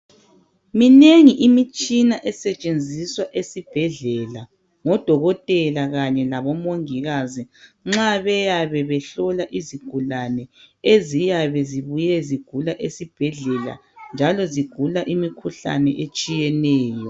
Minengi imitshina esetshenziswa esibhedlela ngo Dokotela kanye labo Mongikazi nxa beyabe behlola izigulane eziyabe zibuye zigula esibhedlela njalo zigula imikhuhlane etshiyeneyo.